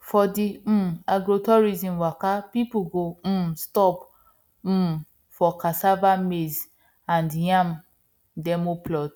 for the um agrotourism waka people go um stop um for cassava maize and yam demo plots